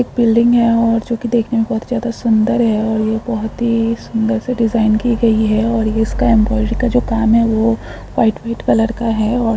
एक बिल्डिंग है और जो कि देखने में बहुत ज़्यादा सुंदर है और ये बहुत ही सुंदर सी डिज़ाइन की गई है और ये इसका एम्ब्रॉयडरी का जो काम है वो व्हाइट -व्हाइट कलर का है और--